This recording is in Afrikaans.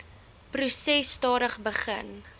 proses stadig begin